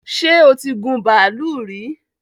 ṣẹ́ o tí gun bàálù rí?